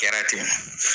Kɛra ten